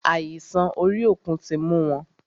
Àìsàn orí òkun tí mú wọn.